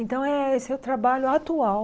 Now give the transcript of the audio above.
Então, eh esse é o trabalho atual.